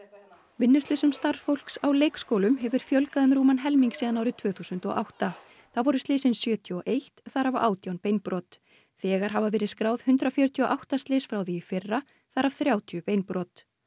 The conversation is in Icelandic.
vinnuslysum starfsfólks á leikskólum hefur einnig fjölgað um rúman helming síðan árið tvö þúsund og átta þá voru slysin sjötíu og eitt þar af átján beinbrot þegar hafa verið skráð hundrað fjörutíu og átta slys frá því í fyrra þar af þrjátíu beinbrot